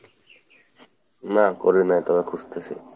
নাহ করি নাই, তবে খুজতেছি।